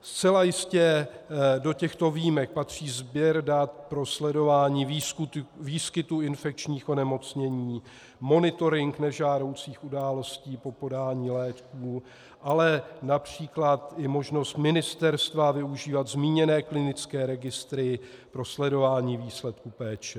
Zcela jistě do těchto výjimek patří sběr dat pro sledování výskytu infekčních onemocnění, monitoring nežádoucích událostí po podání léků, ale například i možnost ministerstva využívat zmíněné klinické registry pro sledování výsledků péče.